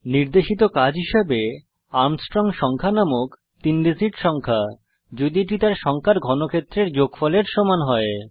নির্দেশিত কাজ হিসাবে আর্মস্ট্রং সংখ্যা নামক তিন ডিজিট সংখ্যা যদি এটি তার সংখ্যার ঘনক্ষেত্রের যোগফলের সমান হয়